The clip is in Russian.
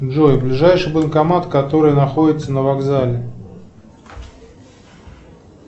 джой ближайший банкомат который находится на вокзале